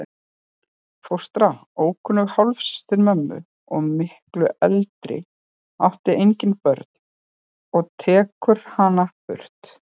Fóstra, ókunnug hálfsystir mömmu og miklu eldri, átti engin börnin og tekur hana burt.